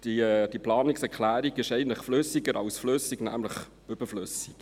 Diese Planungserklärung ist also flüssiger als flüssig, nämlich überflüssig.